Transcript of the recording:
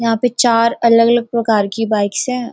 यहाँ पे चार अलग अलग प्रकार की बाइक्स हैं।